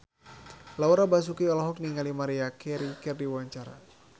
Laura Basuki olohok ningali Maria Carey keur diwawancara